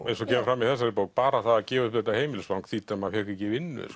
eins og kemur fram í þessari bók bara það að gefa upp þetta heimilisfang þýddi að maður fékk ekki vinnu